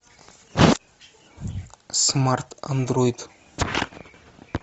смарт андроид